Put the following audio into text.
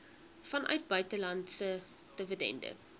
vanuit buitelandse dividende